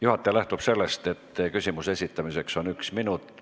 Juhataja lähtub sellest, et küsimuse esitamiseks on aega üks minut.